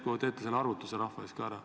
Järsku teete selle arvutuse rahva eest ära?